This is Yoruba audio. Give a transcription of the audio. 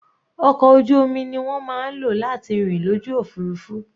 Ọkọ̀ ojú omi ni wọ́n máa ń lò láti rìn lójú òfurufú.